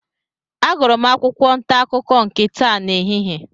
Agụrụ m akwụkwọ ntaakụkọ nke taa n'ehihie.